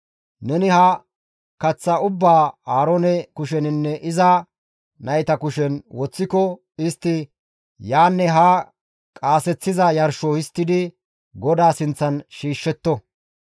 Neni ha kaththaa ubbaa Aaroone kusheninne iza nayta kushen woththiko istti yaanne haa qaaseththiza yarsho histtidi GODAA sinththan shiishshetto.